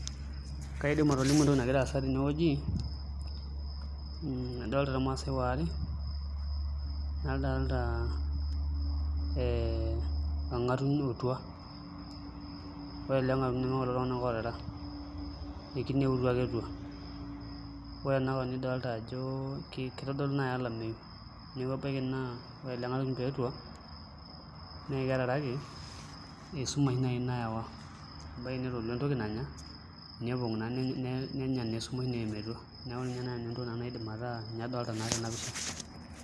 Kiadim atolimu entoki nagira aasa tenewueji adolta irmaasai aare nadolta orng'atuny otua ore ele ng'atuny nemeiltung'anak ootara ekineputua ake etua ore ena kop nidolta ajo kitodolu naau olameyu neeku ebaiki naa ore ele ng'atuny pee etua naa meetaraki esumash naawa ebaiki netala entoki nanya nenya naa esumash neerr metua, neeku ninye naai entoki nanu nadolta tena pisha.